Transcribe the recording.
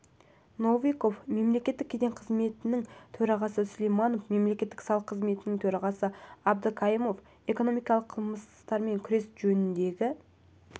новиков мемлекеттік кеден қызметінің төрағасы сулайманов мемлекеттік салық қызметінің төрағасы абдыкаимов экономикалық қылмыстармен күрес жөніндегі